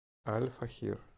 аль фахир